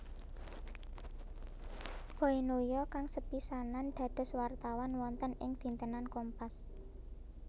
Boy Noya kang sepisanan dados wartawan wonten ing dintenan Kompas